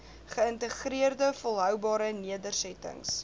geïntegreerde volhoubare nedersettings